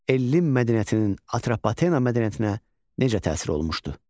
Ellin mədəniyyətinin Atropatena mədəniyyətinə necə təsir olmuşdu?